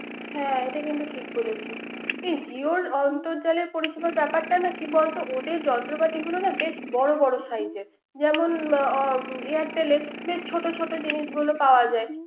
হ্যা এটা কিন্তু। এ জিওর অর্ন্তজালের পরিসেবাটা ব্যাপারটানা কি বলতো ওদের যন্ত্রগুলোনা বেস বড় বড় size এর। যেন Airtel বেস ছোট ছোট জিনিসগুলো পাওয়া যায়।